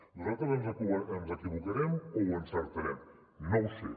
nosaltres ens equivocarem o encertarem no ho sé